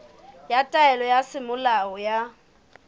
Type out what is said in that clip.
ya taelo ya semolao ya